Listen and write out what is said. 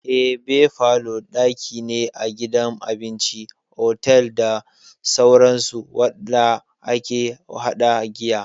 Eh, Bear parlour daki ne a gidan abinci, otal, da sauransu wanda ake hada giya.